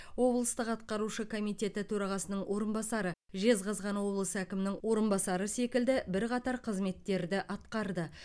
облыстық атқарушы комитеті төрағасының орынбасары жезқазған облысы әкімінің орынбасары секілді бірқатар қызметтерді атқарды